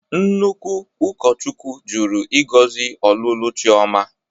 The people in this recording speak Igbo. Nnukwu ụkọchukwu jụrụ ịgọzi ọlụlụ Chiọma